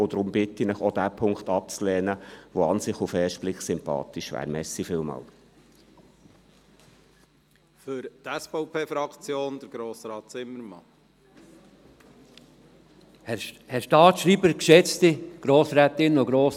Deshalb bitte ich Sie, auch diesen Punkt abzulehnen, selbst wenn er auf den ersten Blick eigentlich sympathisch ist.